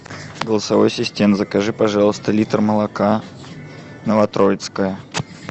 голосовой ассистент закажи пожалуйста литр молока новотроицкое